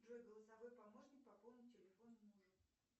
джой голосовой помощник пополнить телефон мужу